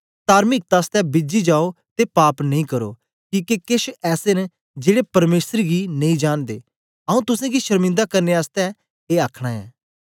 तार्मिकता आसतै बीजी जाओ ते पाप नेई करो किके केछ ऐसे न जेड़े परमेसर गी नेई जांनदे आऊँ तुसेंगी शर्मिंदा करने आसतै ए आखना ऐ